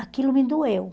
Aquilo me doeu.